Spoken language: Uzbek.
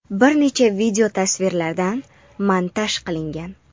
bir nechta videotasvirlardan montaj qilingan.